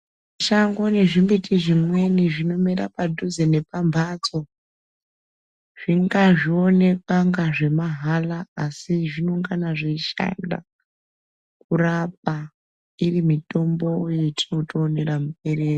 Shango nezvimbiti zvimweni zvinomera padhuze nepamhatso. Zvingabaonekwa kungana zvemahala asi zvinongana kurapa iri mitombo yatinotoonera muberere.